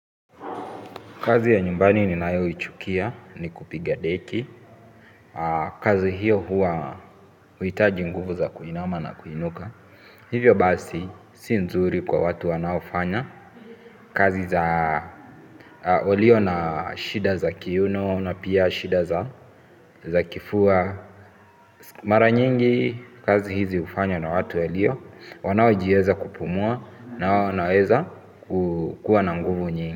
Kazi ya nyumbani ni nayoichukia ni kupiga deki. Kazi hiyo huwa huhitaji nguvu za kuinama na kuinuka. Hivyo basi si nzuri kwa watu wanaofanya. Kazi za walio na shida za kiuno na pia shida za kifua. Mara nyingi kazi hizi hufanywa na watu ya lio wanaojiweza kupumua na wanaweza kukua na nguvu nyingi.